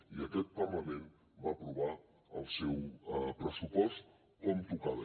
i aquest parlament va aprovar el seu pressupost com tocava